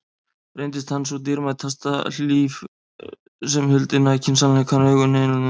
Reyndist hann sú dýrmæta hlíf sem huldi nakinn sannleikann augum hinna hreinlífu og grunlausu.